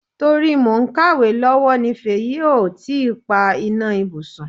To ri mo ń kàwé lowo ní Fèyí ò tí pa iná ibùsùn.